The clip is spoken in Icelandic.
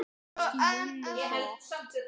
Það fannst Júlíu gott.